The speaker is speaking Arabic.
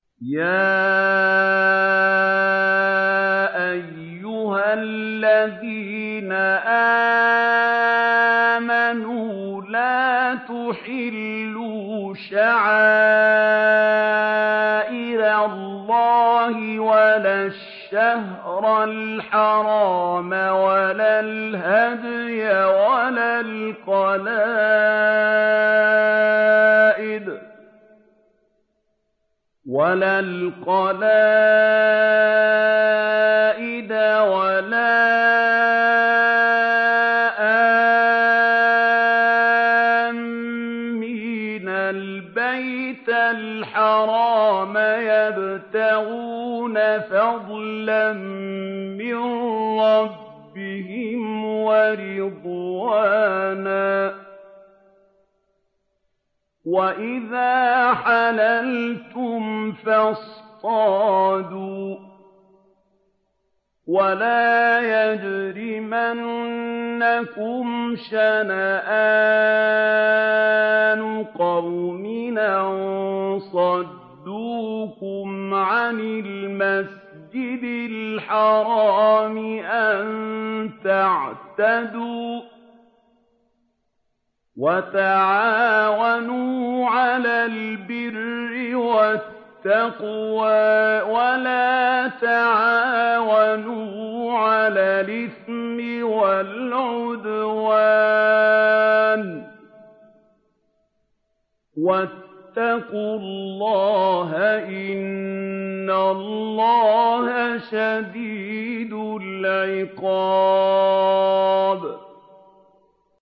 يَا أَيُّهَا الَّذِينَ آمَنُوا لَا تُحِلُّوا شَعَائِرَ اللَّهِ وَلَا الشَّهْرَ الْحَرَامَ وَلَا الْهَدْيَ وَلَا الْقَلَائِدَ وَلَا آمِّينَ الْبَيْتَ الْحَرَامَ يَبْتَغُونَ فَضْلًا مِّن رَّبِّهِمْ وَرِضْوَانًا ۚ وَإِذَا حَلَلْتُمْ فَاصْطَادُوا ۚ وَلَا يَجْرِمَنَّكُمْ شَنَآنُ قَوْمٍ أَن صَدُّوكُمْ عَنِ الْمَسْجِدِ الْحَرَامِ أَن تَعْتَدُوا ۘ وَتَعَاوَنُوا عَلَى الْبِرِّ وَالتَّقْوَىٰ ۖ وَلَا تَعَاوَنُوا عَلَى الْإِثْمِ وَالْعُدْوَانِ ۚ وَاتَّقُوا اللَّهَ ۖ إِنَّ اللَّهَ شَدِيدُ الْعِقَابِ